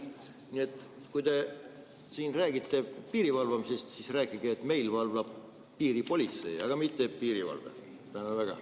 Nii et kui te siin räägite piiri valvamisest, siis rääkige, et meil valvab piiri politsei, aga mitte piirivalve.